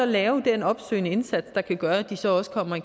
lave den opsøgende indsats der kan gøre at de så også kommer i